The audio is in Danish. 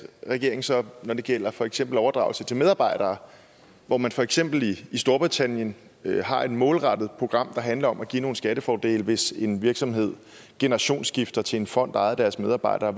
regeringen så når det gælder for eksempel overdragelse til medarbejdere hvor man for eksempel i storbritannien har et målrettet program der handler om at give nogle skattefordele hvis en virksomhed generationsskifter til en fond ejet af deres medarbejdere